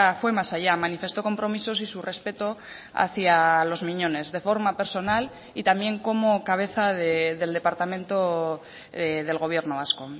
fue más allá manifestó compromisos y su respeto hacia los miñones de forma personal y también como cabeza del departamento del gobierno vasco